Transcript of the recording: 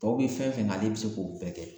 Tɔw bi fɛn fɛn kɛ ale bi se k'o bɛɛ kɛ